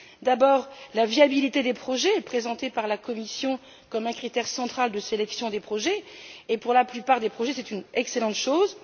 D'abord, la viabilité des projets présentée par la Commission comme un critère central de sélection des projets, et pour la plupart d'entre eux, c'est une excellente chose.